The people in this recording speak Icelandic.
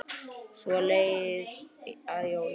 Svo leið að jólum.